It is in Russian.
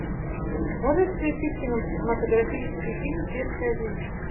можешь включить кинематографический фильм светская жизнь